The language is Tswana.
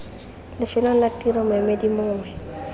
lefelong la tiro moemedi mongwe